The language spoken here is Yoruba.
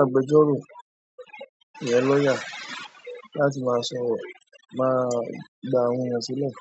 agbẹjọ́rò ìyẹ́n lawyer láti máa sọ̀rọ̀ máa gba àwọn èèyàn sílẹ̀.